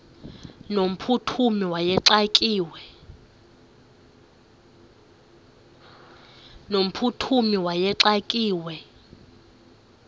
no mphuthumi wayexakiwe